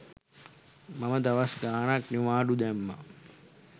මම දවස් ගාණක් නිවාඩු දැම්මා